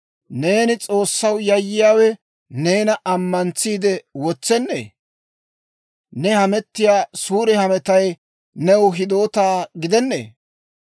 Neeni S'oossaw yayyiyaawe neena ammantsiide wotsennee? Ne hamettiyaa suure hametay new hidoota gidennee?